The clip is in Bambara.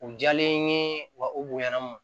U jalen ye wa u bonya na